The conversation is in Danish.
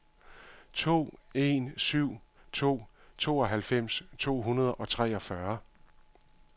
to en syv to tooghalvfems to hundrede og treogfyrre